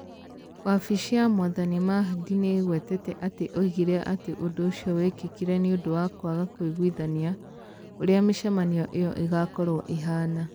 Wabici ya Mwathani Mahdi nĩ ĩgwetete atĩ oigire atĩ ũndũ ũcio wekĩkire nĩ ũndũ wa kwaga kũiguithania ũrĩa mĩcemanio ĩyo ĩgaakorũo ĩhaana.